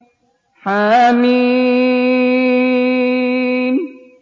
حم